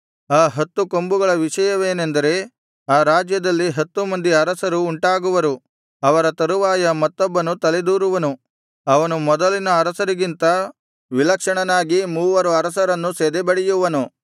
ಆ ಹತ್ತು ಕೊಂಬುಗಳ ವಿಷಯವೇನೆಂದರೆ ಆ ರಾಜ್ಯದಲ್ಲಿ ಹತ್ತು ಮಂದಿ ಅರಸರು ಉಂಟಾಗುವರು ಅವರ ತರುವಾಯ ಮತ್ತೊಬ್ಬನು ತಲೆದೋರುವನು ಅವನು ಮೊದಲಿನ ಅರಸರಿಗಿಂತ ವಿಲಕ್ಷಣನಾಗಿ ಮೂವರು ಅರಸರನ್ನು ಸದೆಬಡೆಯುವನು